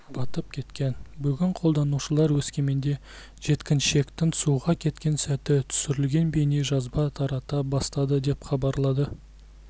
батып кеткен бүгін қолданушылар өскеменде жеткіншектің суға кеткен сәті түсірілген бейнежазбаны тарата бастады деп хабарлады